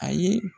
A ye